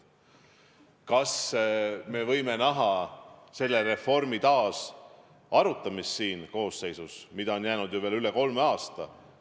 Kas me võime näha selle reformi taasarutamist selles koosseisus, mille tööaega on jäänud ju veel üle kolme aasta?